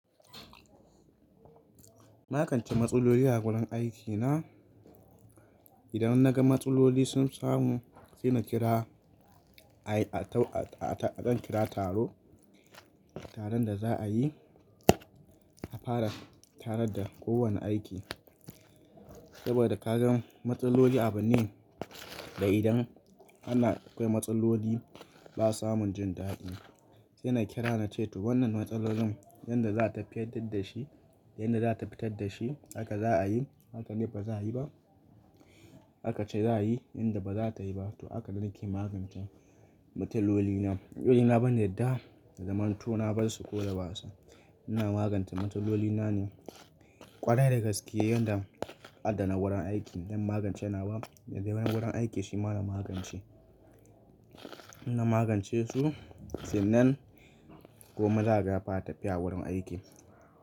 Na magance matsaloli a wurin aikina. Idan naga matsaloli sun samu, sai na kira a kan kira taro, taron da za a yi. A fara taron da kowane aiki saboda ka gan matsaloli a bune. Da idan ana akwai matsaloli ba samun jin daɗi, sai na kira na ce to wannan matsalolin yadda za ta fiyaddar da shi, yadda za ta fitar da shi, haka za a yi, haka ne ba za a yi ba. Haka ce za a yi, inda ba za ta yi ba to haka nake magance matsalolina. Matsalolina ban yadda, zaman to na bar su ko da wasa. Ina magance matsalolina ne ƙwarai da gaskiya yanda addana wurin aiki zan magance. Na wa naje wurin aiki shi ma na magance. In magance su sannan komai zakaga ya fara tafiya wurin aiki.